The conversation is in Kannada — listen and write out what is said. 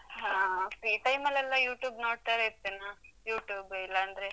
ಹಾ. Free time ಲ್ಲೆಲ್ಲ YouTube ನೋಡ್ತಾಲೇ ಇರ್ತೇನ್ ನಾನು. YouTube ಇಲ್ಲಾಂದ್ರೆ.